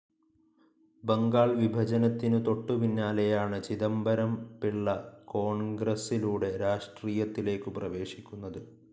ബംഗാൾ വിഭജനത്തിനു തൊട്ടു പിന്നാലെയാണ് ചിദംബരം പിള്ള കോൺഗ്രസ്സിലൂടെ രാഷ്ട്രീയത്തിലേക്കു പ്രവേശിക്കുന്നത്.